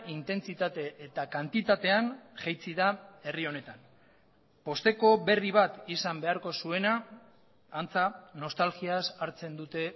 intentsitate eta kantitatean jaitsi da herri honetan pozteko berri bat izan beharko zuena antza nostalgiaz hartzen dute